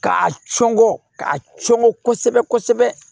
K'a cɔngɔ k'a cɔngɔ kosɛbɛ kosɛbɛ